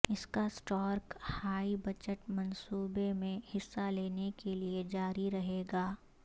اسکا Stark high budget منصوبے میں حصہ لینے کے لئے جاری رہے گا